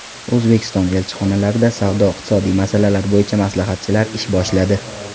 O‘zbekiston elchixonalarida savdo-iqtisodiy masalalar bo‘yicha maslahatchilar ish boshladi.